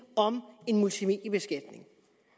om en multimediebeskatning